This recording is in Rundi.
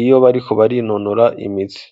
iyo bariko barinonora imitsi